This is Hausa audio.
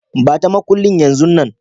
Ba ta makullin yanzun nan.